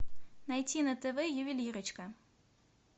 найти на тв ювелирочка